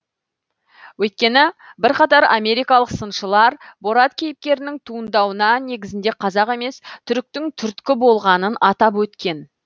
өйткені бірқатар америкалық сыншылар борат кейіпкерінің туындауына негізінде қазақ емес түріктің түрткі болғанын атап өткен